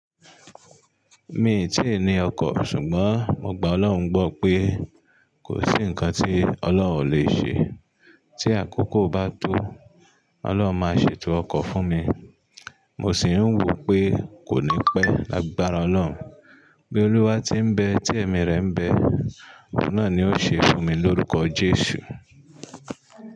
Mi ò tí ì ní ọkọ̀, ṣùgbọ́n mo gbà Ọlọ́run gbọ́ pé kò sí ǹnkan tí Ọlọ́run ò le ṣe. Tí àkókò bá tó, Ọlọ́run máa ṣètò ọkọ̀ fún mi. Mo sì ń wò pé kò ní pẹ́ lágbára Ọlọ́run. Bí Olúwa ti ń bẹ, ti ẹ̀mí rẹ̀ ń bẹ, oun náà ni ó ṣe fún mi lórúkọ Jésù.